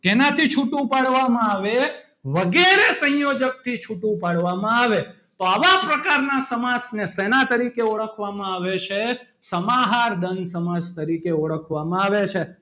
શેનાથી છૂટું પાડવામાં આવે વગેરે સંયોજકથી છૂટું પાડવામાં આવે તો આવા પ્રકારના સમાસને શેના તરીકે ઓળખવામાં આવે છે સમાહાર દ્વંદ સમાસ તરીકે ઓળખવામાં આવે છે.